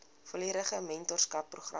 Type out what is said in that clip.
volledige mentorskap program